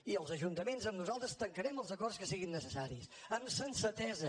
i els ajuntaments amb nosaltres tancarem els acords que siguin necessaris amb sensatesa